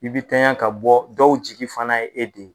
I bi tanya ka bɔ dɔw jigi fana ye e de ye